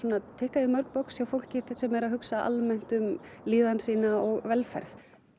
tikkað í mörg box hjá fólki sem er að hugsa almennt um líðan sína og velferð